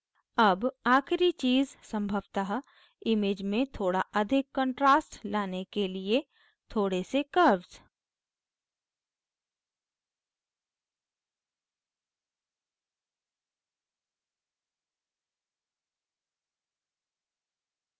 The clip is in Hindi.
अब आखिरी चीज़ संभवतः image में थोड़ा अधिक contrast लाने के लिए थोड़े से curves